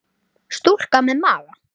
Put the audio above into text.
Stúlka með maga.